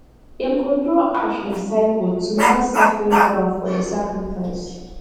dem go draw ash in circle to mark sacred ground for the sacrifice